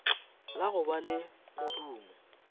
la go ba le modumo